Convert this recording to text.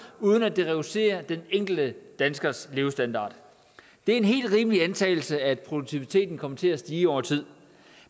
uden at det reducerer den enkelte danskers levestandard det er en helt rimelig antagelse at produktiviteten kommer til at stige over tid